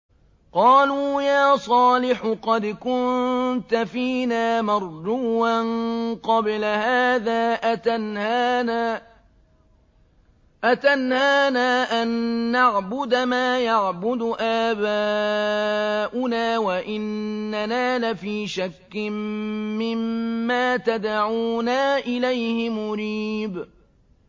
قَالُوا يَا صَالِحُ قَدْ كُنتَ فِينَا مَرْجُوًّا قَبْلَ هَٰذَا ۖ أَتَنْهَانَا أَن نَّعْبُدَ مَا يَعْبُدُ آبَاؤُنَا وَإِنَّنَا لَفِي شَكٍّ مِّمَّا تَدْعُونَا إِلَيْهِ مُرِيبٍ